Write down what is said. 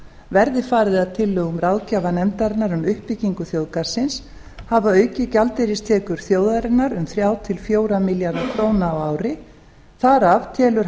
verði farið að tillögum ráðgjafarnefndarinnar um uppbyggingu þjóðgarðsins hafa aukið gjaldeyristekjur þjóðarinnar um þrjú til fjögurra milljarða króna á ári þar af telur